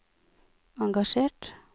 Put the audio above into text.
engasjert